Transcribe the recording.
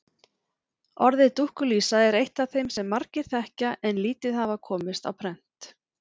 Orðið dúkkulísa er eitt af þeim sem margir þekkja en lítið hafa komist á prent.